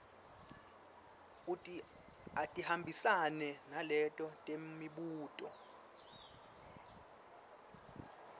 atihambisane naleto temibuto